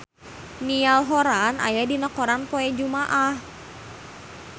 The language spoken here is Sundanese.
Niall Horran aya dina koran poe Jumaah